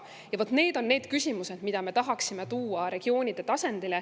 Need on need küsimused, mida me tahaksime tuua regioonide tasandile.